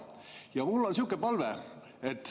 Ja mul on selline palve.